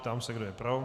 Ptám se, kdo je pro.